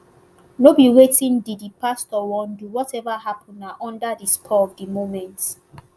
no be wetin di di pastor wan do whatever happun na under di spur of di moment